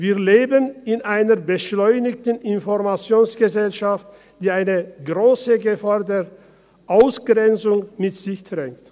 Wir leben in einer beschleunigten Informationsgesellschaft, die eine grosse Gefahr der Ausgrenzung mit sich trägt.